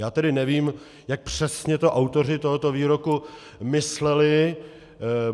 Já tedy nevím, jak přesně to autoři tohoto výroku mysleli.